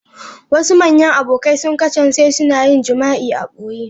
Wasu manyan abokai sun kasance suna yin jima'i a ɓoye.